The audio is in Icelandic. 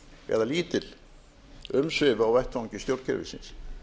eða lítil umsvif á vettvangi stjórnkerfisins